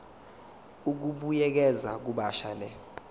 ukubuyekeza kabusha le